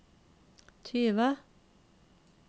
tyve